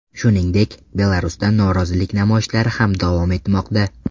Shuningdek, Belarusda norozilik namoyishlari ham davom etmoqda.